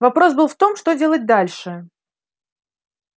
вопрос был в том что делать дальше